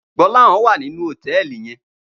Gbolahan wá ninú hótèlí yèn